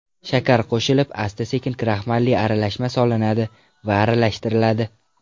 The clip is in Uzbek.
Shakar qo‘shilib, asta-sekin kraxmalli aralashma solinadi va aralashtiriladi.